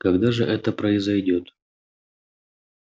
когда же это произойдёт